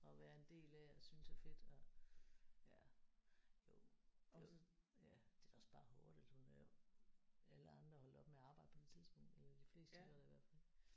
Og være en del af og synes er fedt og ja jo og ja det er da også bare hårdt altså hun er jo. Alle andre er holdt op med at arbejde på det tidspunkt eller de fleste gør da i hvert fald